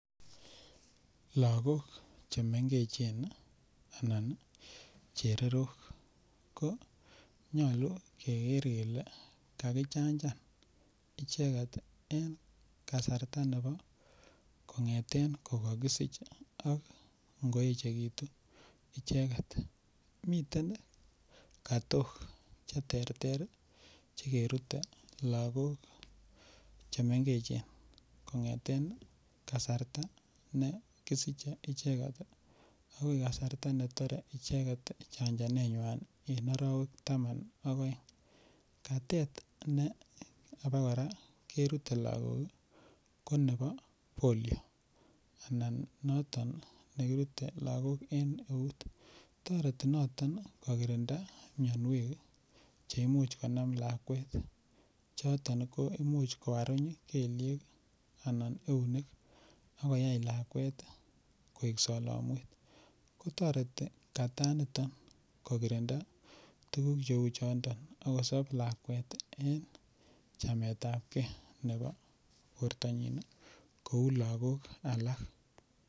lagook chemengechen anan iih chererook, konyolu keger kele kagichanchan icheget en kasarta nebo kongeten kogagisch ak ngoechegitu icheget, miten katook cheterter chegerute lagook chemengechen kongeten kasarta ne kisische icheget iiih agoi kasarta netore icheget chanchanet nywaan en orowek taman ak oeng, katet ne abagora kerute lagoook konebo polio anan noto negirute lagok en euut, toreti noton kogirinda myonweek cheimuch konam lakweet choton koimuch koaruny kelyeek anan eunek ak koyaai lakweet koek solomweet, ko toreti kataa niton kogirinda tuguuk cheuu choton ak kosob lakweet en chametab kee nebo bortonyin kouu lagook alak.